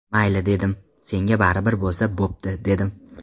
Mayli, dedim, senga baribir bo‘lsa bo‘pti, dedim.